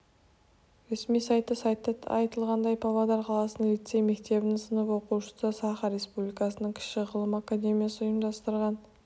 ресми сайты сайтта айтылғандай павлодар қаласының лицей-мектебінің сынып оқушысы саха республикасының кіші ғылым академиясы ұйымдастырған